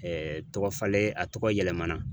tɔgɔ falen a tɔgɔ yɛlɛmana